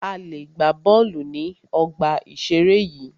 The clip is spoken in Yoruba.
A lè gbà bọ́ọ̀lù ní ọgbà ìseré yìí